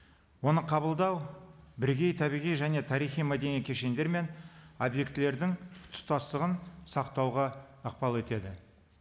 оны қабылдау бірігей табиғи және тарихи мәдени кешендер мен объектілердің тұтастығын сақтауға ықпал етеді